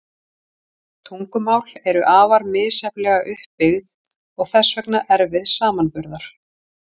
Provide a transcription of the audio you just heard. Tungumál eru afar misjafnlega upp byggð og þess vegna erfið samanburðar.